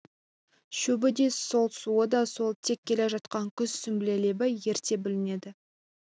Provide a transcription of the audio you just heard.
шөбі де сол суы да сол тек келе жатқан күз сүмбіле лебі ерте білінеді